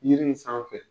Yiri in sanfɛ